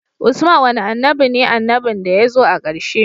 Usman wane annabi ne annabin da yazo a karshe